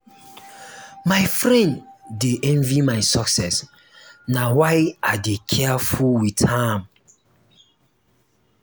my friend dey envy my success na why i dey careful wit am.